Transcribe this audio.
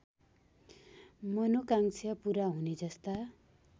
मनोकांक्षा पूरा हुनेजस्ता